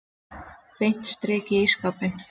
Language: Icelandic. Beint strik í ísskápinn.